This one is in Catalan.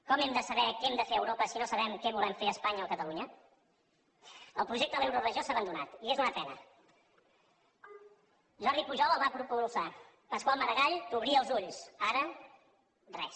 com hem de saber què hem de fer a europa si no sabem què volem fer a espanya o a catalunya el projecte de l’euroregió s’ha abandonat i és una pena jordi pujol el va propulsar pasqual maragall t’obria els ulls ara res